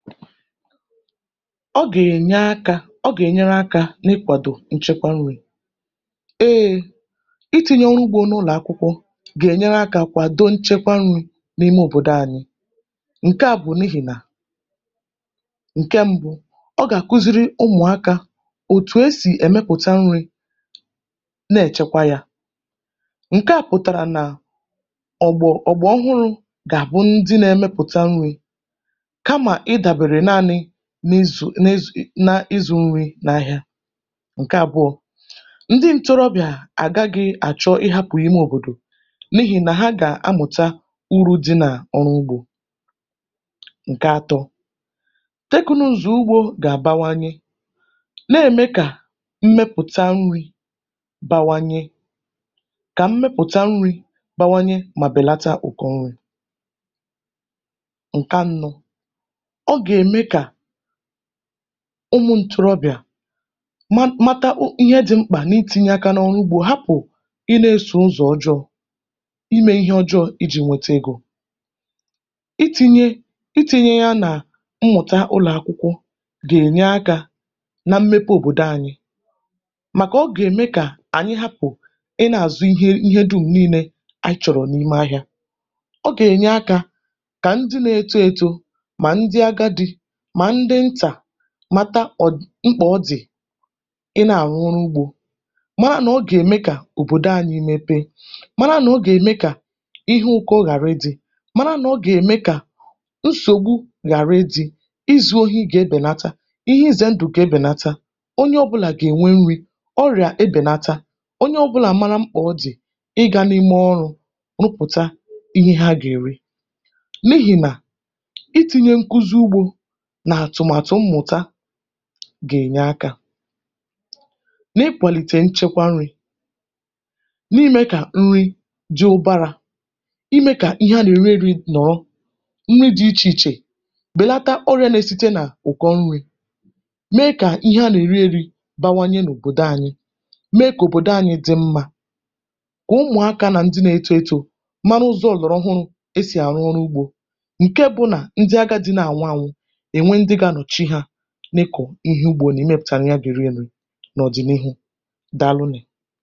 ogà è nye aka, ọ gà ènyere akā, na ịkwàdò nchekwa nrī. eē, itinye ọ̄ụ ugbō n’ụlọ̀ akwụkwọ, gà ènyere akā kwàdo nchekwa nrī, n’òbòdo anyị. ǹkẹ à bụ̀ n’ihì nà, ǹkẹ mbụ, ọ gà àkuziri ụmụ̀akā, òtù e sì ẹ̀mẹkwa nrī, nà ẹ̀chẹkwa ya. ǹkẹ, ǹkẹ à pụ̀tàrà nà ọ̀gbà, ọ̀gbà ọhụrụ̄, nà ndị na ẹmẹpụ̀ta nrī, kamà ị dàbèrè naānị nà ịzụ na ịzụ̄ nrī n’ahịa. ǹkẹ àbụọ, ndị ntorobị̀à àgaghị̄ àchọ ịhāpụ̀ ime òbòdò, n’ihì nà ha gà amụ̀ta urū dị nà ọrụ ugbō. ǹkẹ atọ, tekụnụzụ ugbō gà àbawanye, nà ème kà mmepụ̀ta nrī bawanye, kà mmepụ̀ta nrī bawanye, mà bèlata ụ̀kọ nrī. ǹkẹ anọ, o gà ème kà ụmụ̄ ntorobị̀à, ma mata ihe dị mkpà na itīnye akā n’ọrụ ugbō, hapụ̀ ị nae sò ụzọ̀ ọjọọ̄, imē ihẹ ọjọọ̄ ijī nwete egō. itīnye, itīnye ya nà mmụ̀ta ụlọ̀ akwụkwọ, gà ènye akā na mmepe òbòdo anyị, màkà ogè dịkà ànyị hapụ̀ ị na azụ ihe du n’imē, anyị chọ̀rọ̀ n’ime ahịā. o gà ènye akā, kà ndị na eto eto, ma ndị agadị̄, mà ndị ntà, mata mkpà ọ dị̀ ị na à àrụ ọrụ ugbō, mara nà ọ gà ème kà òbòdo anyị mepe, mara nà ọ gà ème kà nsògbu ghàra ịdị̄, izū ohi gà ebèlata, ihe izè ndụ̀ gà ebèlata, onye ọbụlà gà ènwe nrī, ọrị̀à ebèlata, onye ọbụlà mara mkpà ọ dị̀ ị ga n’ime ọrụ̄, rụpụ̀ta ihe ha gà èri, n’ihì nà, itīnye nkuzi ugbō, nà àtụ̀màtụ mmụ̀ta, gà ènyere akā, n’ịkwàlìtè nchẹ̀kwa nrī, na imē kà nri dị ụbarā, imē kà ihẹ a nà ère nrī nọ̀ọ, nri dị ichè ichè, bèlata ọrị̄ā na esìte n’ụ̀kọ nrī, dịkà ihe a nà èri eri bawanye n’òbòdo anyị, me kà òbòdo anyị dị mmā. ụmụ̀akā na eto eto, mara ụzọ̄ ọ̀gbàrà ọhụrụ̄ e sì àrụ ọrụ ugbō, ǹke bụ nà, ndị agadī nà ànwụ anwụ, e nwe ndị ga anọ̀chị ha, n’ịkọ̀ ihe ugbo, ya nà mmepụ̀ta ya bụ nri nà ọ̀dị̀nịhụ. Dàalụ nụ̀.